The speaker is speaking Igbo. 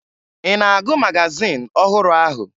Ị na-agụ magazin ọhụrụ ahụ?